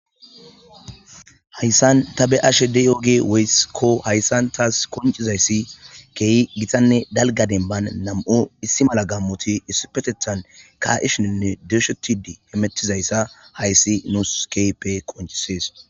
Hayissan ta beyashshe diyogey woykko hayisan tas qoncizyss kehi gitanne dalga demban nam"u issi mala gammoti issipeteththan ka'ishinine doshshetishe hemetizayssa hayss nus kehippe qoncisess